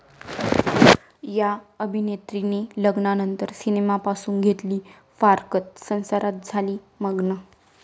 या' अभिनेत्रींनी लग्नानंतर सिनेमांपासून घेतली फारकत, संसारात झाली मग्न